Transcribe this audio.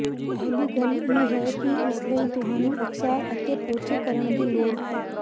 ਪਹਿਲੀ ਗੱਲ ਇਹ ਹੈ ਕਿ ਇਸ ਲਈ ਤੁਹਾਨੂੰ ਇਕਸਾਰ ਅਤੇ ਪੋਚੇ ਕਰਨ ਦੀ ਲੋੜ ਹੈ